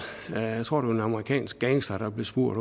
jeg tror det var en amerikansk gangster der blev spurgt